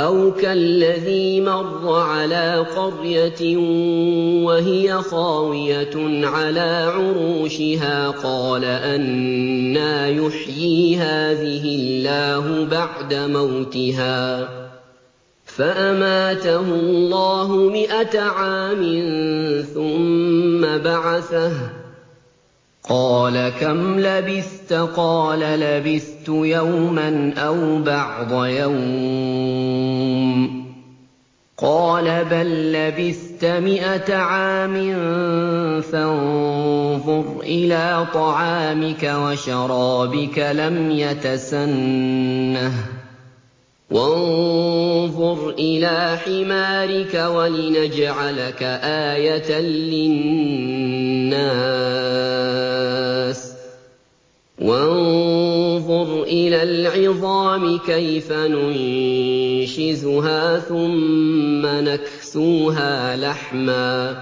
أَوْ كَالَّذِي مَرَّ عَلَىٰ قَرْيَةٍ وَهِيَ خَاوِيَةٌ عَلَىٰ عُرُوشِهَا قَالَ أَنَّىٰ يُحْيِي هَٰذِهِ اللَّهُ بَعْدَ مَوْتِهَا ۖ فَأَمَاتَهُ اللَّهُ مِائَةَ عَامٍ ثُمَّ بَعَثَهُ ۖ قَالَ كَمْ لَبِثْتَ ۖ قَالَ لَبِثْتُ يَوْمًا أَوْ بَعْضَ يَوْمٍ ۖ قَالَ بَل لَّبِثْتَ مِائَةَ عَامٍ فَانظُرْ إِلَىٰ طَعَامِكَ وَشَرَابِكَ لَمْ يَتَسَنَّهْ ۖ وَانظُرْ إِلَىٰ حِمَارِكَ وَلِنَجْعَلَكَ آيَةً لِّلنَّاسِ ۖ وَانظُرْ إِلَى الْعِظَامِ كَيْفَ نُنشِزُهَا ثُمَّ نَكْسُوهَا لَحْمًا ۚ